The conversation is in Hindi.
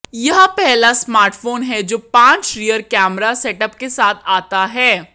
यह पहला स्मार्टफोन है जो पांच रियर कैमरा सेटअप के साथ आता है